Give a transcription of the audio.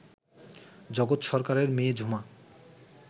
জগৎ সরকারের মেয়ে ঝুমা